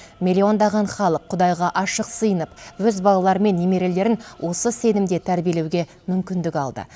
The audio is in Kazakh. миллиондаған халық құдайға ашық сыйынып өз балалары мен немерелерін осы сенімде тәрбиелеуге мүмкіндік алды